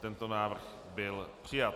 Tento návrh byl přijat.